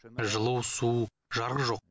жылу су жарық жоқ